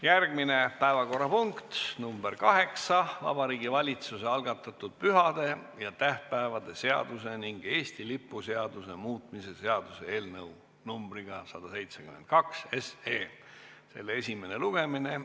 Järgmine päevakorrapunkt, nr 8, Vabariigi Valitsuse algatatud pühade ja tähtpäevade seaduse ning Eesti lipu seaduse muutmise seaduse eelnõu numbriga 172 esimene lugemine.